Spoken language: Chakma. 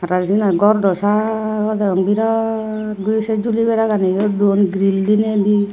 rajina gor daw sagor degong birat bo se juli beraganiyo don gril dinedi.